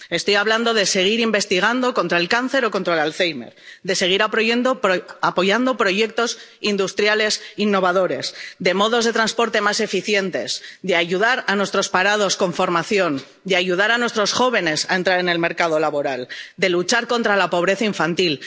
Estoy hablando de seguir investigando contra el cáncer o contra el Alzheimer, de seguir apoyando proyectos industriales innovadores y modos de transporte más eficientes, de ayudar a nuestros parados con formación, de ayudar a nuestros jóvenes a entrar en el mercado laboral, de luchar contra la pobreza infantil.